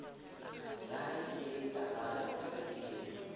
yahae e talana e pepileng